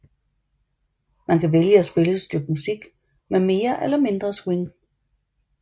Man kan vælge at spille et stykke musik med mere eller mindre swing